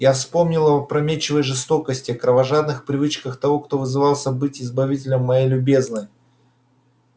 я вспоминал об опрометчивой жестокости кровожадных привычках того кто вызывался быть избавителем моей любезной